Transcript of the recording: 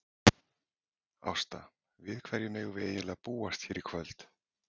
Ásta, við hverju megum við eiginlega búast hér í kvöld?